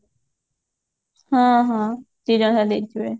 ହଁ ହଁ ଦିଜଣ ଯାକ ଦେଇଥିବ